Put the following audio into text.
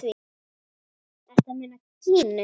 Ertu að meina Gínu?